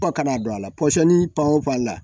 ka na don a la pɔsɔni pan paranti